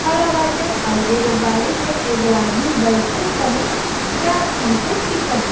खड़ा बाटे और एगो गाड़ी में एगो आदमी बइठ के कहीं जात हमके दिखत ब --